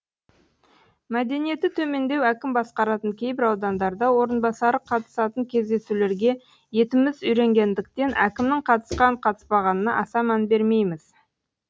мәдениеті төмендеу әкім басқаратын кейбір аудандарда орынбасары қатысатын кездесулерге етіміз үйренгендіктен әкімнің қатысқан қатыспағанына аса мән бермейміз